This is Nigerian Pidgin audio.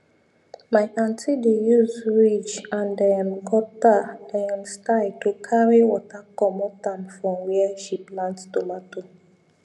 my aunty dey use ridge and um gutter um style to carry water commot um from where she plant tomato